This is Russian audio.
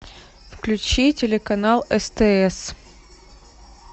включи телеканал стс